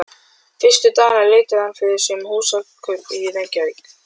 Fyrstu dagana leitaði hann fyrir sér um húsakaup í Reykjavík.